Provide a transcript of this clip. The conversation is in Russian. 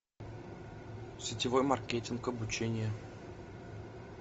сетевой маркетинг обучение